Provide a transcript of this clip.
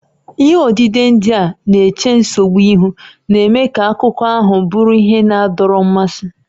Ihe odide ndị a na-eche nsogbu ihu, na-eme ka akụkọ ahụ bụrụ ihe na-adọrọ mmasị.